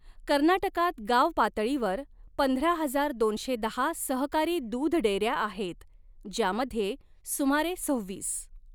कर्नाटकात गाव पातळीवर पंधरा हजार दोनशे दहा सहकारी दूध डेअऱ्या आहेत, ज्यामध्ये सुमारे सव्हीस.